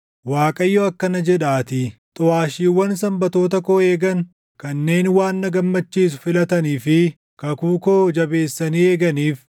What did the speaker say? Waaqayyo akkana jedhaatii: “Xuʼaashiiwwan Sanbatoota koo eegan, kanneen waan na gammachiisu filatanii fi kakuu koo jabeessanii eeganiif,